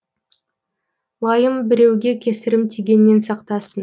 лайым біреуге кесірім тигеннен сақтасын